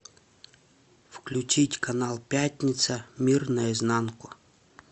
включить канал пятница мир наизнанку